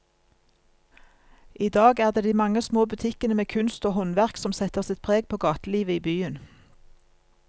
I dag er det de mange små butikkene med kunst og håndverk som setter sitt preg på gatelivet i byen.